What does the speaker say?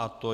Je to